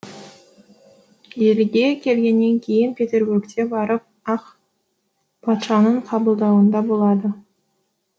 елге келгеннен кейін петербургте барып ақ патшаның қабылдауында болады